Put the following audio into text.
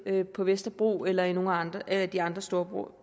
på vesterbro eller i nogle af de andre store